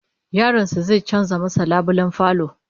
Yaron sa zai canza masa labulayen falo